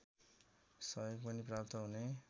सहयोग पनि प्राप्त हुने